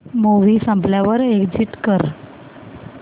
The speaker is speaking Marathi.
मूवी संपल्यावर एग्झिट कर